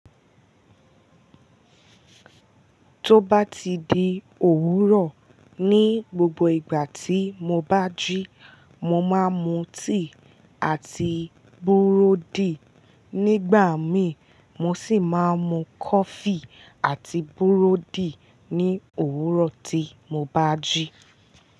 Tó bá ti di òwúrọ̀, ní gbogbo ìgbà tí mo bá jí, mo máa ń mu tíì àti búrọ́dì. Nígbà mi mó sì máa ń mu kọfí àti búrọ́dì ní òwúrọ̀ tí mo bá jí.